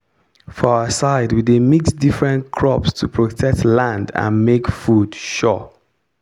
for our side we dey mix different crops to protect land and make food sure.